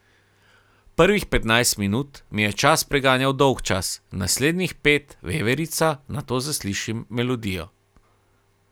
Prvih petnajst minut mi je čas preganjal dolgčas, naslednjih pet veverica, nato zaslišim melodijo.